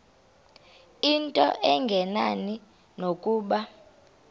into engenani nokuba